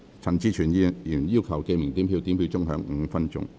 陳志全議員要求點名表決。